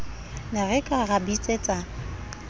ne re ka ra bitsetsa